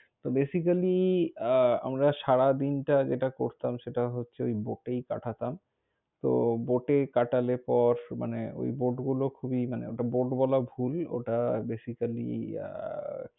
ত basically আহ আমরা সারা দিনটা যেটা করতাম সেটা হচ্ছে, ঐ bote এই কাটাতাম। তো bote এ কাটালে পর মানে ঐ bote গুলো খুবই মানে, ওটা bote বলা ভুল, ওটা basically আহ